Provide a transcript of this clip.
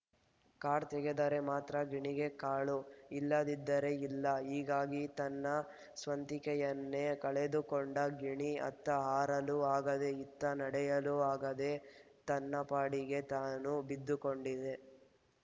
card ತೆಗೆದರೆ ಮಾತ್ರ ಗಿಣಿಗೆ ಕಾಳು ಇಲ್ಲದಿದ್ದರೆ ಇಲ್ಲ ಹೀಗಾಗಿ ತನ್ನ ಸ್ವಂತಿಕೆಯನ್ನೇ ಕಳೆದುಕೊಂಡ ಗಿಣಿ ಅತ್ತ ಹಾರಲೂ ಆಗದೆ ಇತ್ತ ನಡೆಯಲೂ ಆಗದೆ ತನ್ನಪಾಡಿಗೆ ತಾನು ಬಿದ್ದುಕೊಂಡಿದೆ